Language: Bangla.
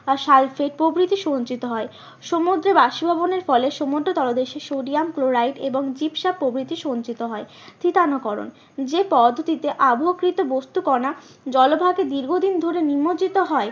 সালফেড প্রভৃতি সঞ্চিত হয়। সমুদ্রে বাষ্পভবনের ফলে সমুদ্র তলদেশে সোডিয়াম ক্লোরাইড এবং প্রভৃতি সঞ্চিত হয়। থিতানা করণ যে পদটিতে আবহকৃত বস্তু কণা জলভাগে দীর্ঘদিন ধরে নিমজ্জিত হয়